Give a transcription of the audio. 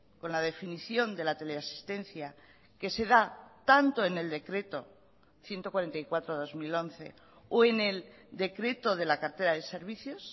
con la definición de la teleasistencia que se da tanto en el decreto ciento cuarenta y cuatro barra dos mil once o en el decreto de la cartera de servicios